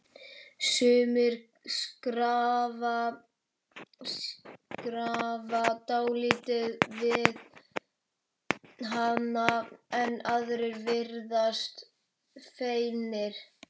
Sumir skrafa dálítið við hana en aðrir virðast feimnir.